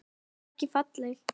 En ekki falleg.